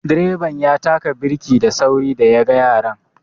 Direban ya taka birki da sauri da ya ga yaran